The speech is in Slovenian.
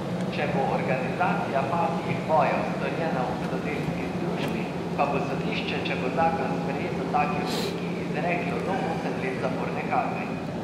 Če bo organizacija pasjih bojev storjena v hudodelski združbi, pa bo sodišče, če bo zakon sprejet v taki obliki, izreklo do osem let zaporne kazni.